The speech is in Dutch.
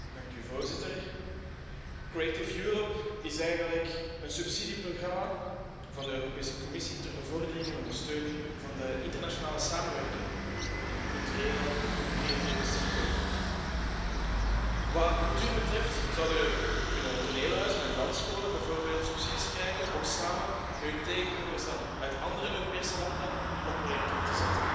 Voorzitter, Creative Europe is eigenlijk een subsidieprogramma van de Europese Commissie ter bevordering en ondersteuning van de internationale samenwerking in de culturele en creatieve sector. Wat cultuur betreft zouden toneelhuizen en dansscholen bijvoorbeeld subsidies kunnen krijgen om samen met hun tegenhangers uit andere Europese landen een project op te zetten.